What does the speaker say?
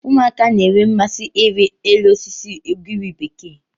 Ụmụaka na-enwe mmasị ịrị elu osisi ugiri bekee.